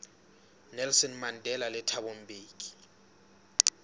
nelson mandela le thabo mbeki